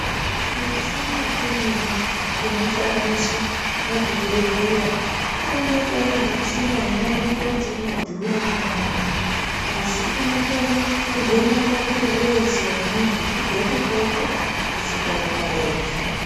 Mishina imweni inoshandiswa pazvibhedhleya, inooneka iri michina inooneka kuti inodhura maningi asi inokone kuvheneka mwiiri weshe wemuntu kubve kuhloko kusvika kumarenje.